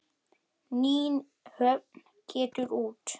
Nýhöfn getur út.